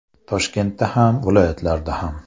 Toshkentda ham, viloyatlarda ham.